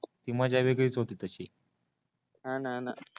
ती मजा वेगळीच होती तसी हा न न